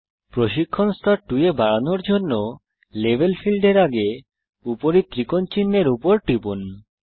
প্রশিক্ষণ স্তর 2 এ বাড়ানোর জন্য লেভেল ফীল্ডের আগে উপরী ত্রিকোণ চিনহের উপর টিপুন